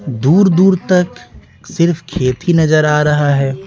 दूर दूर तक सिर्फ खेत ही नजर आ रहा है।